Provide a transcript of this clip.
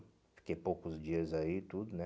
Fiquei poucos dias aí, tudo, né?